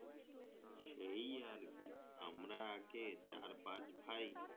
সেই আর কি আমরা আগে চার পাঁচ ভাই